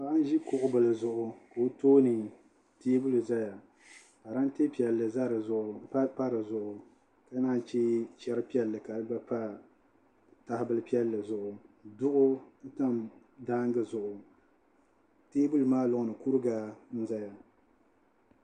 Paɣa n ʒi kuɣu bili zuɣu ka o tooni teebuli ʒɛya parantɛ piɛlli pa di zuɣu ka naan chɛ chɛri piɛlli ka di gba pa tahabili piɛlli zuɣu duɣu tam daangi zuɣu teebuli maa loŋni kuriga n ʒɛya